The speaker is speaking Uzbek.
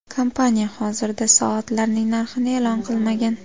Kompaniya hozirda soatlarning narxini e’lon qilmagan.